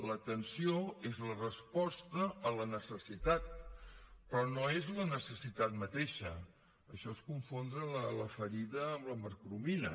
l’atenció és la resposta a la necessitat però no és la necessitat mateixa això és confondre la ferida amb la mercromina